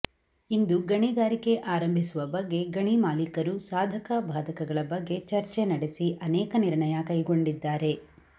ಇಂದು ಗಣಿಗಾರಿಕೆ ಆರಂಭಿಸುವ ಬಗ್ಗೆ ಗಣಿ ಮಾಲೀಕರು ಸಾಧಕ ಬಾಧಕಗಳ ಬಗ್ಗೆ ಚರ್ಚೆ ನಡೆಸಿ ಅನೇಕ ನಿರ್ಣಯ ಕೈಗೊಂಡಿದ್ದಾರೆ